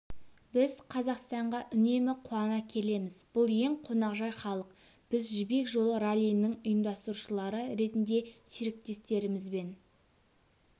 біз қазақстанға үнемі қуана келеміз бұл ең қонақжай халық біз жібек жолы раллиінің ұйымдастырушылары ретінде серіктестерімізбен